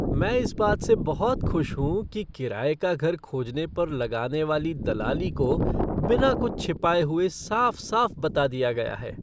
मैं इस बात से बहुत खुश हूँ कि किराये का घर खोजने पर लगाने वाली दलाली को बिना कुछ छिपाए हुए साफ़ साफ़ बता दिया गया है।